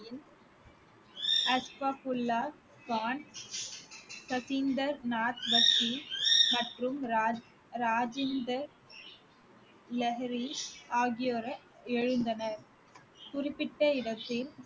அஸ்ஃபகுல்லா கான், மற்றும் ராஜ்~ ராஜேந்தர் லஹிரி ஆகியோர் எழுந்தனர் குறிப்பிட்ட இடத்தில்